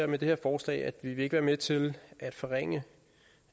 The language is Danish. med det her forslag at vi ikke vil være med til at forringe